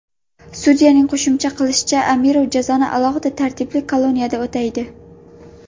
Sudyaning qo‘shimcha qilishicha, Amirov jazoni alohida tartibli koloniyada o‘taydi.